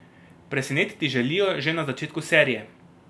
Presenetiti želijo že na začetku serije.